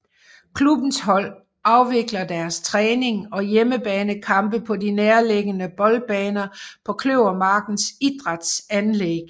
Klubbens hold afvikler deres træning og hjemmebanekampe på de nærliggende boldbaner på Kløvermarkens Idrætsanlæg